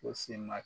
Ko si ma